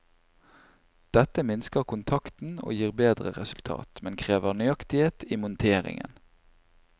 Dette minsker kontakten og gir bedre resultat, men krever nøyaktighet i monteringen.